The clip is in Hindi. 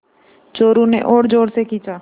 चोरु ने और ज़ोर से खींचा